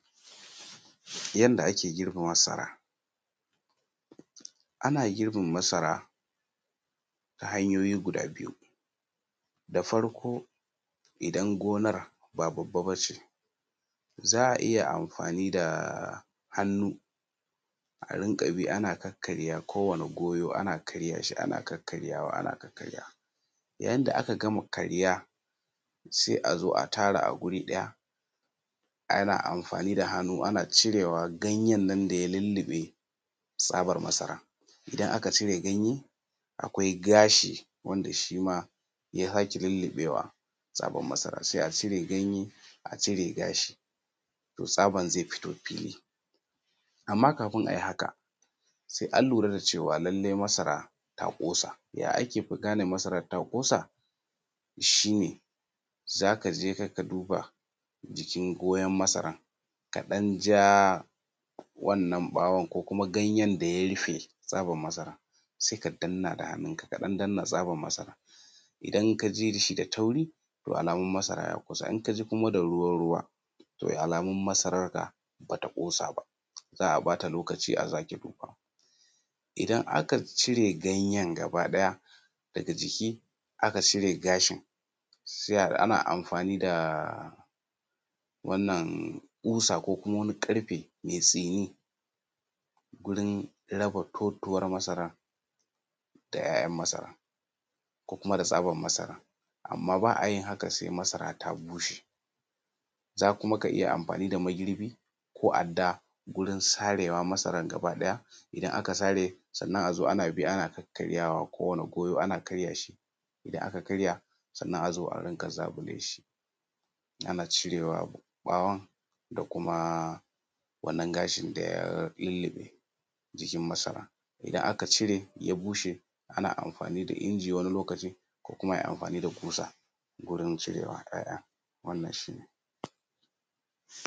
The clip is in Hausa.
Yadda ake girbe masara, ana girbin masara ta hanyoti biyu, da farko idan gonar ba babba ba ce za a iya amfani da hannu a riƙa bi kowane goyo ana karye shi da hannu ana karyawa ana kakkarya shi. Yayin da aka gama karya sai a zo a tara a guri ɗaya ana amfani da hunnu ana cirewa ,ganyen da ya lalluɓe tsabar masara, idan aka acire ganye akwai ga shi wanda shi ma ya sake lillubewa masara sai a cire ganye a cire gashi tsabar zai fito fili. Amma kafin a yi haka sai an lura da cewa lallai masara ta kosa, shi ne za ka je ka duba jikin goyen masarar kaɗan ja wannan ɓawon ko ganyen da ya rufe fatar masara sai ka danna da hannunka tsakabar masara r. Idan ka ji da taauri alamun masara ya kusa idan ka ji da ruwa-ruwa to da alamun masararka ba ta ƙosa ba za a ba ta lokaci. Idan aka cire ganyen gaba ɗaya daga jiki aka coke gashi ma. Ana amfani da ƙusan ko wani karfe mai tsini gurin raba totuwar masar da 'ya'yan ko kuma da tsabar masara amma ba a yin haka sai masara ta bushe kuma za ka iya yin girbi ko adda wajen sare masarar gaba ɗaya. Idana ka sare sai a zo ana bi ana kakkaaryawa, kowane goyo ana karya shi, isan aka karya sai a zo a riƙa zaƙule shi ana cire ɓawon da kuma wannan gashi da ya lilluɓe jikin masarar idana ka cire ya bushe. Ana amfani da inji ko a yi amfani da kusa wajen cirewar wannan shi ne.